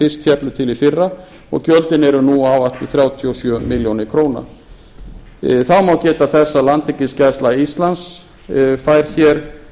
fyrst féllu til í fyrra og gjöldin eru nú áætluð þrjátíu og sjö milljónir króna þá má geta þess að landhelgisgæsla íslands fær tillögu er